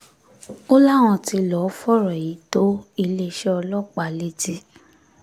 ó láwọn tí lọ́ọ́ fọ̀rọ̀ yìí tó iléeṣẹ́ ọlọ́pàá létí